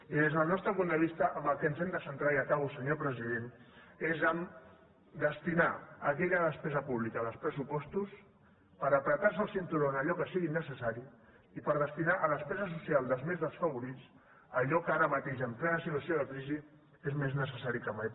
i des del nostre punt de vista en el que ens hem de centrar i acabo senyor president és a destinar aquella despesa pública dels pressupostos per estrènyer se el cinturó en allò que sigui necessari i per destinar a despesa social dels més desfavorits allò que ara mateix en plena situació de crisi és més necessari que mai